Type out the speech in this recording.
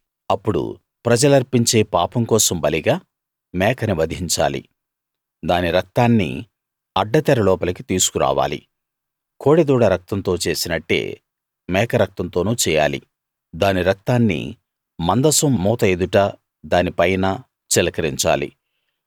అప్పుడు ప్రజలర్పించే పాపం కోసం బలిగా మేకని వధించాలి దాని రక్తాన్ని అడ్డతెర లోపలికి తీసుకు రావాలి కోడె దూడ రక్తంతో చేసినట్టే మేక రక్తంతోనూ చేయాలి దాని రక్తాన్ని మందసం మూత ఎదుటా దాని పైనా చిలకరించాలి